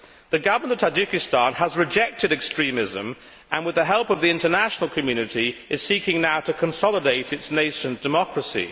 The Government of Tajikistan has rejected extremism and, with the help of the international community, is seeking now to consolidate its nation's democracy.